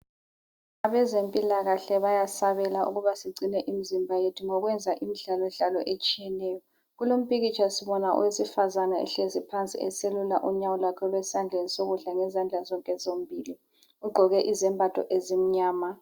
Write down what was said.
Abazempilakahle bayasabela ukuba sigcine imizimba yethu, ngokwenza imidlalodlalo etshiyeneyo. Eseluka impilo yethu,